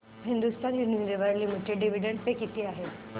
Hindustan Unilever limited dividend pay किती आहे